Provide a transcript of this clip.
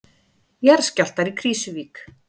Jarðskjálftar í Krýsuvík